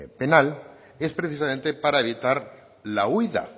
penal es precisamente para evitar la huida